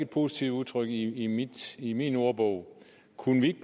positivt udtryk i i min ordbog kunne vi